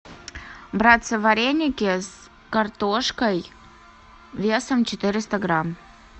братцы вареники с картошкой весом четыреста грамм